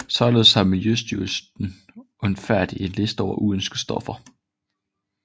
Således har Miljøstyrelsenudfærdiget en liste over uønskede stoffer